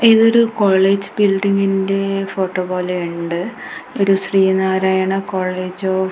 ഇതൊരു കോളേജ് ബിൽഡിങ്ങിന്റെ ഫോട്ടോ പോലെയുണ്ട് ഒരു ശ്രീ നാരായണ കോളേജ് ഓഫ് --